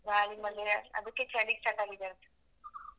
ಹೌದ ಗಾಳಿ ಮಳೆ ಅದ್ಕೆ ಚಳಿ start ಆಗಿದೆ ಅನ್ಸುತ್ತೆ.